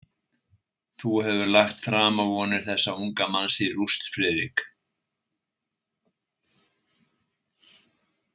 Þú hefur lagt framavonir þessa unga manns í rúst, Friðrik.